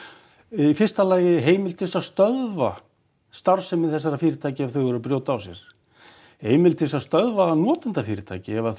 í fyrsta lagi heimild til að stöðva starfsemi þessara fyrirtækja ef þau eru að brjóta af sér heimild til þess að stöðva notendafyrirtæki ef